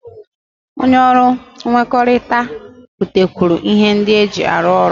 Onye ọrụ nkwekọrịta butekwuru ihe ndị eji arụ ụlọ